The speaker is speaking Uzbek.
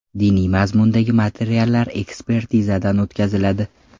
Diniy mazmundagi materiallar ekspertizadan o‘tkaziladi.